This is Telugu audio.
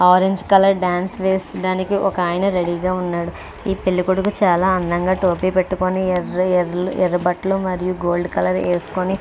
ఆరెంజ్ కలర్ డాన్స్ వేసి దానికి ఒక ఆయన రెడీ గా ఉన్నాడు ఈ పెళ్ళికొడుకు చాలా అందంగా టోపీ పెట్టుకొని ఎర్రి ఎర్ర బట్టలు మరియు గోల్డ్ కలర్ వేసుకొని --